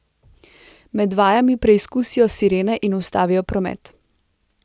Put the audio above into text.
Med vajami preizkusijo sirene in ustavijo promet.